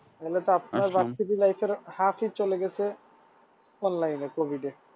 তাহলে তো আপনার versity life এর half এ চলে গেছে online এ covid এ